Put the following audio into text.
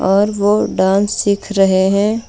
और वह डांस सीख रहे हैं.